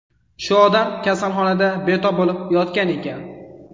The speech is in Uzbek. Shu odam kasalxonada betob bo‘lib yotgan ekan.